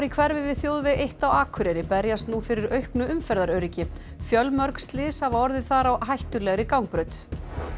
í hverfi við þjóðveg eitt á Akureyri berjast nú fyrir auknu umferðaröryggi fjölmörg slys hafa orðið þar á hættulegri gangbraut